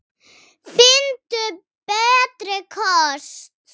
Finndu betri kosti!